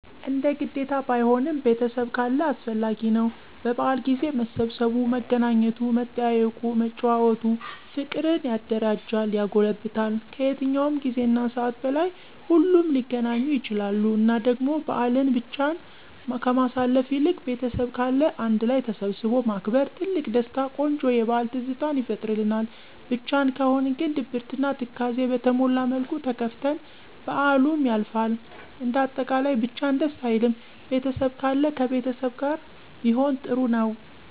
እንደ ግዴታ ባይሆንም ቤተሰብ ካለ አስፈላጊ ነው። በበአል ጊዜ መሰባሰቡ፣ መገናኘቱ መጠያየቁ፣ መጨዋወቱ፣ ፍቅርን ያደረጃል ያጎለብታል። ከየትኛውም ጊዜና ሰዓት በላይ ሁሉም ሊገናኙ ይችላሉ እና ደግሞ በአልን ብቻን ከማሳለፍ ይልቅ ቤተሰብ ካለ አንድ ላይ ተሰባስቦ ማክበር ትልቅ ደስታ ቆንጆ የበአል ትዝታን ይፈጥርልናል። ብቻን ከሆነ ግን ድብርትና ትካዜ በተሞላ መልኩ ተከፍተን በአሉም ያልፋል። እንደ አጠቃላይ ብቻን ደስ አይልም። ቤተሰብ ካለ ከቤተሰብ ጋር ቢሆን ጥሩ ነው።